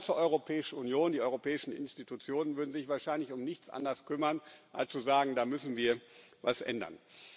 die ganze Europäische Union, die europäischen Institutionen würden sich wahrscheinlich um nichts anderes kümmern als zu sagen Da müssen wir was ändern.